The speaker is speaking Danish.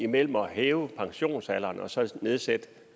mellem at hæve pensionsalderen og så at nedsætte